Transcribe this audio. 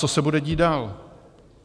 Co se bude dít dál?